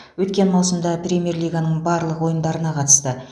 өткен маусымда премьер лиганың барлық ойындарына қатысты